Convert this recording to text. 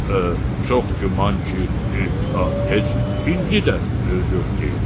Çox güman ki, heç indi də mövcud deyil.